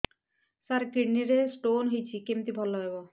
ସାର kidney ରେ stone ହେଇଛି କମିତି ଭଲ ହେବ